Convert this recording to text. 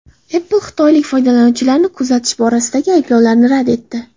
Apple xitoylik foydalanuvchilarni kuzatish borasidagi ayblovni rad etdi.